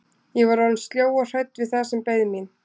Ég var orðin sljó og hrædd við það sem beið mín.